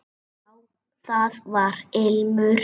Já, það var ilmur!